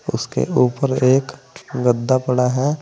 उसके ऊपर एक गद्दा पड़ा है।